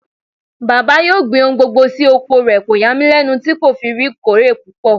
Bàbá yóò gbin ohun gbogbo sí oko rẹ̀, kò yà mí lẹ́nu tí kò fi kórè tó pọ̀.